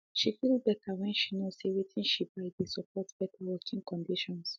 she feel better when she know say watin she buy dey support better working conditions